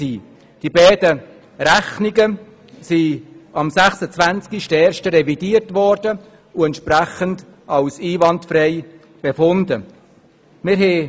Die beiden Rechnungen sind am 26. Januar revidiert und für einwandfrei befunden worden.